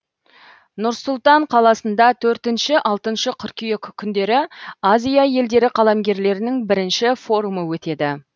нұр сұлтан қаласында төртінші алтыншы қыркүйек күндері азия елдері қаламгерлерінің бірінші форумы өтеді